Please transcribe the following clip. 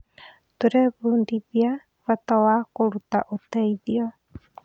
Tũrebundithia bata wa kũruta ũteithio.